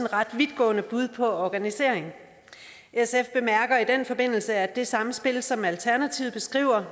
ret vidtgående bud på organisering sf bemærker i den forbindelse at det samspil og som alternativet beskriver